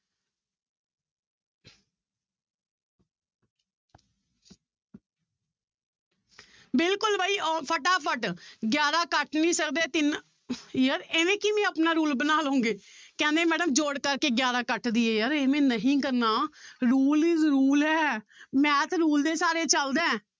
ਬਿਲਕੁਲ ਬਾਈ ਉਹ ਫਟਾਫਟ ਗਿਆਰਾਂ ਕੱਟ ਨੀ ਸਕਦੇ ਤਿੰਨ ਯਾਰ ਇਵੇਂ ਕਿਵੇਂ ਆਪਣਾ rule ਬਣਾ ਲਓਗੇ ਕਹਿੰਦੇ madam ਜੋੜ ਕਰਕੇ ਗਿਆਰਾਂ ਕੱਟ ਦੇਈਏ ਯਾਰ ਇਵੇਂ ਨਹੀਂ ਕਰਨਾ rule is rule ਹੈ math rule ਦੇ ਸਹਾਰੇ ਚੱਲਦਾ ਹੈ।